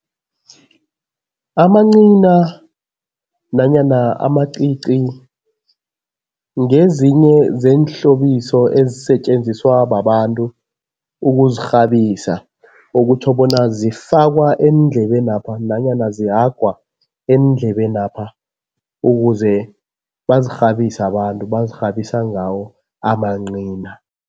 Amancina nanyana amacici ngezinye zeenhlobiso ezisetjenziswa babantu ukuzirhabisa okutjho bona zifakwa eendlebenapha nanyana zihagwa eendlebenapha ukuze bazirhabise abantu, bazirhabisa ngawo amancina.